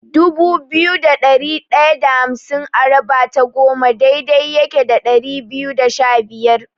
Dubu biyu da ɗari ɗaya da hamsin a raba ta goma daidai yake da ɗari biyu da shabiyar.